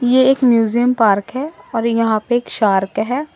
ये एक museum park है और यहां पे एक शार्क है।